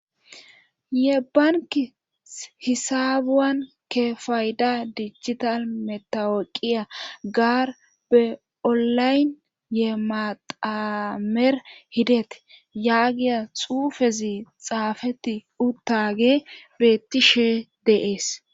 ye banki hisabuwan ke fayda dicchital metaweqiya gaar be7olayn ye matamer hideti yaagiya xuufezi xaafetti uttage beettishee de'es